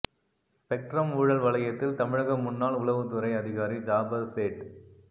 spectrum ஊழல் வளையத்தில் தமிழக முன்னாள் உளவுத்துறை அதிகாரி ஜாபர் சேட்